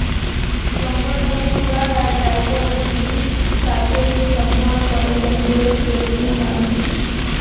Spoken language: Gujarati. સંવર્ધન દ્વારા ટાઇટલ વિવિધ સાથે જ સંપૂર્ણપણે તંદુરસ્ત વ્યક્તિઓ માન્ય છે